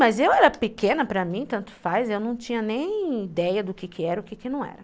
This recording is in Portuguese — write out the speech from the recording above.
Mas eu era pequena para mim, tanto faz, eu não tinha nem ideia do que era e do que não era.